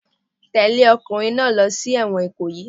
Tẹ̀lẹ́ ọkùnrin náà lọ sí ẹ̀wọ̀n Ikoyi.